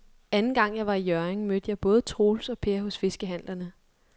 Anden gang jeg var i Hjørring, mødte jeg både Troels og Per hos fiskehandlerne.